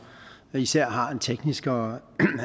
især har en teknisk og